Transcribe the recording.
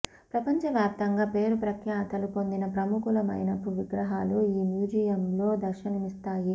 ప్రపంచ వ్యాప్తంగా పేరు ప్రఖ్యాతులు పొందిన ప్రముఖుల మైనపు విగ్రాహాలు ఈ మ్యూజియంలో దర్శనమిస్తాయి